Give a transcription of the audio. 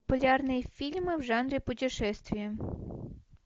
популярные фильмы в жанре путешествия